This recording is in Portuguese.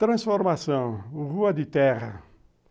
Transformação, rua de terra.